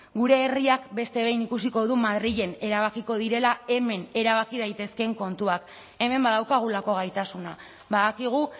gure herriak beste behin ikusiko du madrilen erabakiko direla hemen erabaki daitezkeen kontuak hemen badaukagulako gaitasuna badakigu